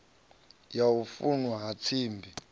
ya u fulwa ha tsimbi